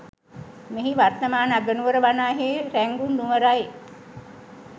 මෙහි වර්තමාන අගනුවර වනාහි රුන්ගුන් නුවරයි